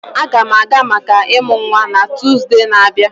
Aga m aga maka ịmụ nwa na Tuzdee na-abịa.